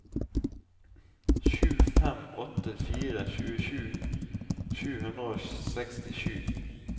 sju fem åtte fire tjuesju sju hundre og sekstisju